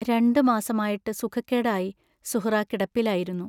രണ്ടു മാസമായിട്ടു സുഖക്കേടായി സുഹ്റാ കിടപ്പിലായിരുന്നു.